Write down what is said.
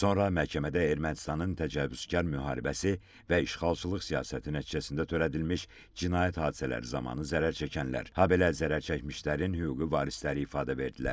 Sonra məhkəmədə Ermənistanın təcavüzkar müharibəsi və işğalçılıq siyasəti nəticəsində törədilmiş cinayət hadisələri zamanı zərərçəkənlər, habelə zərərçəkmişlərin hüquqi varisləri ifadə verdilər.